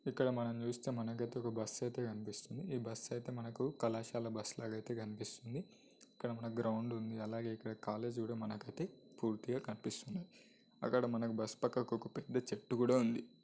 ఇక్కడ మనం చూస్తే మనకు అయితే ఒక బస్ అయితే కనిపిస్తుంది. ఈ బస్ అయితే మనకు కళాశాల బస్ లాగా అయితే కనిపిస్తుంది ఇక్కడ మన గ్రౌండ్ ఉంది. అలాగే ఇక్కడా కాలేజీ కూడా మనకి అది పూర్తిగా కనిపిస్తుంది. అక్కడ మనకు బస్ పక్కకు ఒక పెద్ద చెట్టు కూడా ఉంది.